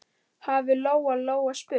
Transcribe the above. hafði Lóa-Lóa spurt.